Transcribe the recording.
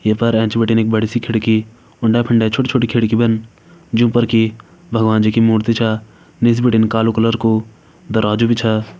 ये पर एंच बिटिन एक बड़ी सी खिड़की उंडे - फंडे छोटी -छोटी खिड़की बन जूं पर की भगवान जी की मूर्ति छ निस बिटिन कालु कलर कु दरवाजु भी छ।